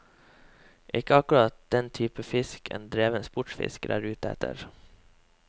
Ikke akkurat den type fisk en dreven sportsfisker er ute etter.